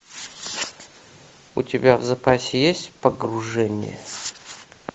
у тебя в запасе есть погружение